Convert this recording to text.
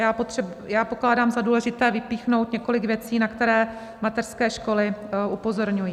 Já pokládám za důležité vypíchnout několik věcí, na které mateřské školy upozorňují.